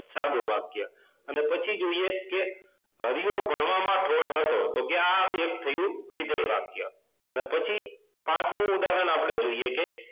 સાદું વાક્ય અને પછી જોઈએ કે હરિયો ભણવામાં ઠોઠ હતો તો આ એક થયું વિધેય વાક્ય અને પછી પાંચમું ઉદાહરણ આપણે જોઈએ કે